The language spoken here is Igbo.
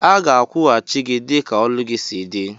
Aga akwụghachi gi dika ọlụ gi si di.